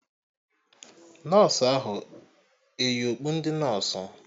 Nọsụ ahụ eyi okpu ndị nọsụ?